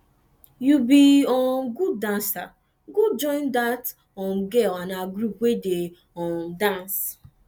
you be um good dancer go join dat um girl and her group wey dey um dance